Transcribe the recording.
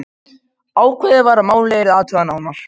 Ákveðið var að málið yrði athugað nánar.